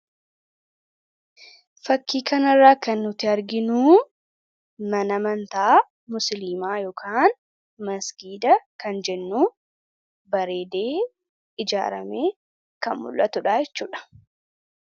fakkii kanirraa kan nuti arginuu mana amantaa musliimaa ykn masgiida kan jennuu bareedee ijaaramee kan mul'atu dhaachuudha